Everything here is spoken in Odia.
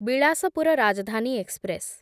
ବିଳାସପୁର ରାଜଧାନୀ ଏକ୍ସପ୍ରେସ୍